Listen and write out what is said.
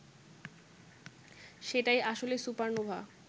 সেটাই আসলে সুপারনোভা